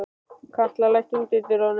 Katla, læstu útidyrunum.